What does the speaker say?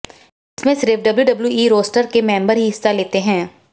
इसमें सिर्फ WWE roster के मेम्बर ही हिस्सा लेते हैं